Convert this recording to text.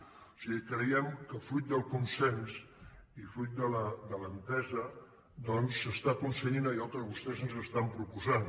o sigui creiem que fruit del consens i fruit de l’entesa s’està aconseguint allò que vostès estan proposant